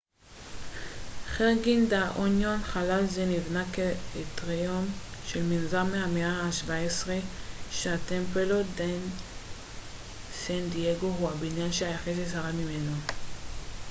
חרגין דה לה אוניון חלל זה נבנה כאטריום של מנזר מהמאה ה-17 שהטמפלו דה סן דייגו הוא הבניין היחיד ששרד ממנו